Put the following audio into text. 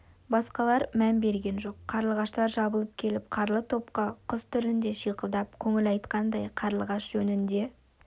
басқалар мән берген жоқ қарлығаштар жабылып келіп қаралы топқа құс тілінде шиқылдап көңіл айтқандай қарлығаш жөнінде